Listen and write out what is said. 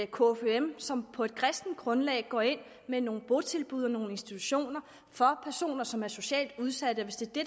kfum som på et kristent grundlag går ind med nogle botilbud og nogle institutioner for personer som er socialt udsatte